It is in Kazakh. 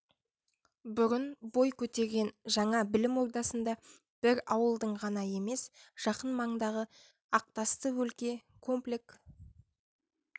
бұрын бой көтерген жаңа білім ордасында бір ауылдың ғана емес жақын маңдағы ақтасты өлке комплек